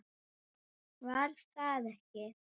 Var það ekki!